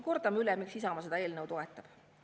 Kordame üle, miks Isamaa seda eelnõu toetab.